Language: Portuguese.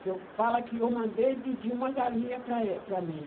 que eu fala que eu mandei pedir uma galinha para ê para mim.